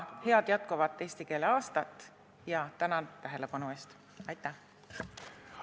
Head jätkuvat eesti keele aastat ja tänan tähelepanu eest!